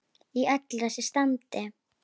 Í öllu þessu standi.